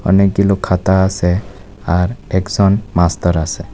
অনেকগুলো খাতা আসে আর একজন মাস্টার আসে।